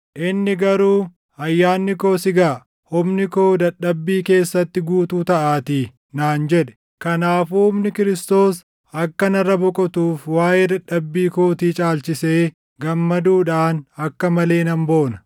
Inni garuu, “Ayyaanni koo si gaʼa; humni koo dadhabbii keessatti guutuu taʼaatii” naan jedhe. Kanaafuu humni Kiristoos akka narra boqotuuf waaʼee dadhabbii kootii caalchisee gammaduudhaan akka malee nan boona.